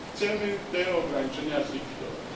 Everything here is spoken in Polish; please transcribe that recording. Chcemy te ograniczenia zlikwidować.